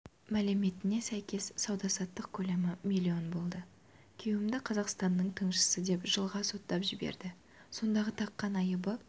мәліметіне сәйкес сауда-саттық көлемі миллион болды күйеуімді қазақстанның тыңшысы деп жылға соттап жіберді сондағы таққан айыбы